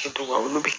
Kɛ to ka olu